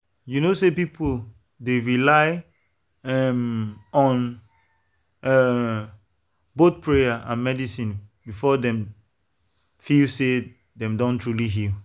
you know say some people dey rely um on um both prayer and medicine before dem feel say dem don truly heal.